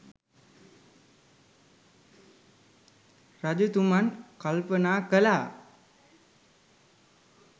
රජතුමන් කල්පනා කලා